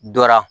Dɔra